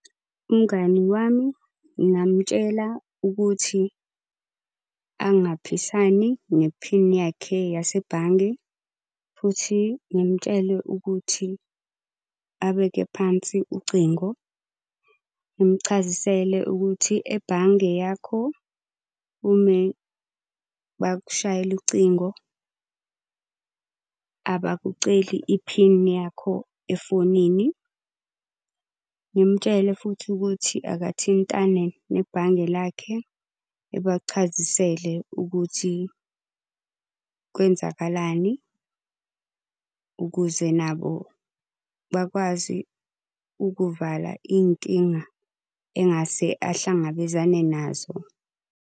Umngani wami ngingamtshela ukuthi angaphisani nephini yakhe yasebhange, futhi ngimtshele ukuthi abeke phansi ucingo. Ngimuchazisele ukuthi ebhange yakho ume bakushayele ucingo abakuceli iphini yakho efonini. Ngimtshele futhi ukuthi akathintane nebhange lakhe ebachazisele ukuthi kwenzakalani. Ukuze nabo bakwazi ukuvala iy'nkinga engase ahlangabezane nazo.